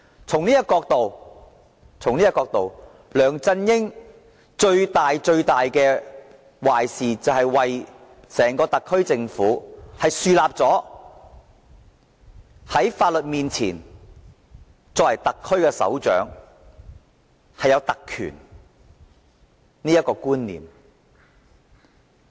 從這個角度來看，梁振英所做最大的壞事，是為整個特區政府樹立了"特區首長在法律面前享有特權"的觀念。